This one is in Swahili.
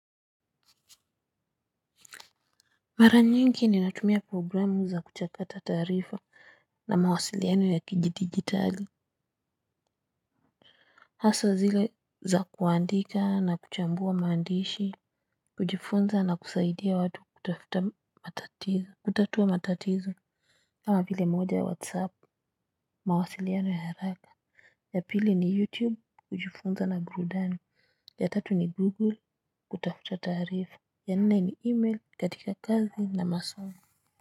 Mara nyingi ninatumia programu za kuchakata taarifa na mawasiliano ya kidigitali. Haswa zile za kuandika na kuchambua maandishi kujifunza na kusaidia watu kutafuta matatizo kutatua matatizo. Kama vile moja ya whatsapp mawasiliano ya haraka. Ya pili ni youtube kujifunza na burudani. Ya tatu ni google kutafuta tarifa. Ya nne ni email katika kazi na masomo.